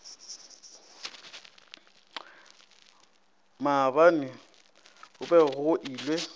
maabane go be go ilwe